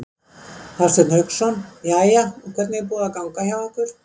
Hafsteinn Hauksson: Jæja, og hvernig er búið að ganga hjá ykkur?